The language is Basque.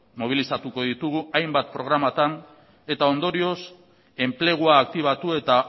mobilizatuko ditugu hainbat programatan eta ondorioz enplegua aktibatu eta